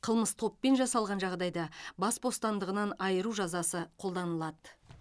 қылмыс топпен жасалған жағдайда бас бостандығынан айыру жазасы қолданылады